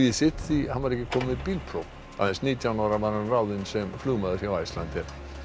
sitt því hann var ekki kominn með bílpróf aðeins nítján ára var hann ráðinn sem flugmaður hjá Icelandair þá